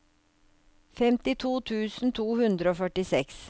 femtito tusen to hundre og førtiseks